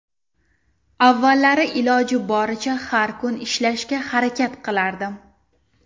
Avvallari iloji boricha har kun ishlashga harakat qilardim.